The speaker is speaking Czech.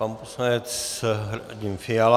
Pan poslanec Radim Fiala.